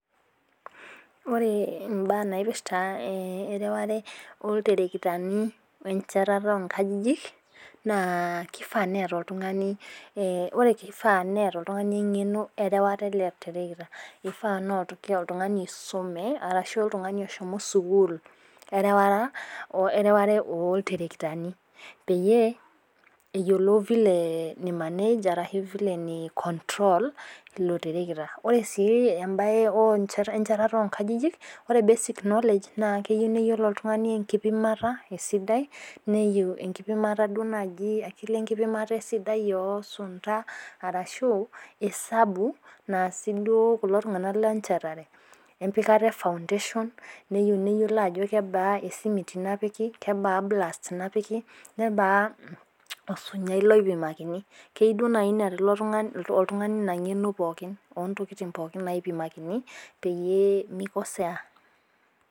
Ore imbaa naipirta ereware oltarakitani. wenchatata oo nkajijik. kifaa neeta oltungani ,ore kifaa neeta oltungani engeno erewata ele tarakita. mifaa oltungani osume ashu oltungani oshomo sukuul erewata, ooltarakitani Peyie eyiolou vile nai manage ashu eyiolou vile arashu vile nei control ilo tarakita. ore sii ebae oo, enchatata oo nkajijik. ore pee basic knowledge keyieu niyiolo oltungani enkipimata esidai. neyieu enkipimata. akili enkipimata oo sunta, arashu osabu naasi duo kulo tunganak lenchatare. empikata e foundation neyieu neyiolo ajo kebaa esimiti napiki. kebaa blast napiki. kebaa osinyai lopikakini. ina ngeno pookin. ontokitin pookin.